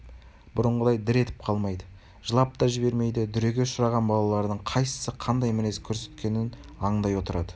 бұрынғыдай дір етіп қалмайды жылап та жібермейді дүреге ұшыраған балалардың қайсысы қандай мінез көрсеткенін аңдай отырады